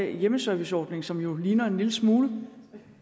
en hjemmeserviceordning som jo ligner en lille smule